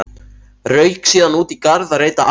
Rauk síðan út í garð að reyta arfa.